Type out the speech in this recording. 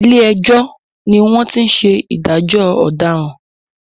Ilé ẹjọ́ ni wọ́n ti ń ṣe ìdájọ́ ọ̀dàràn.